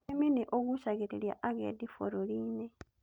Ũrĩmi nĩ ũgucagĩrĩria agendi bũrũri-inĩ